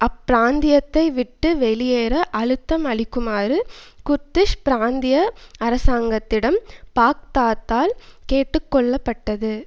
அப்பிராந்தியத்தை விட்டு வெளியேற அழுத்தம் அளிக்குமாறு குர்திஷ் பிராந்திய அரசாங்கத்திடம் பாக்தாத்தால் கேட்டுக்கொள்ளப்பட்டது